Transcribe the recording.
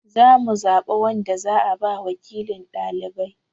Za mu zaɓa wanda za a ba wakilin ɗalibai.